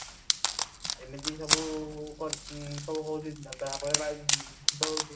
ଏମିତି ସବୁ କରୁ ଉଁ ହଉଛି ଯାହାଫଳରେ ବାୟୁ ପ୍ରଦୂଷିତ ହଉଛି